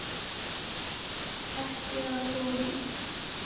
Ekki af honum.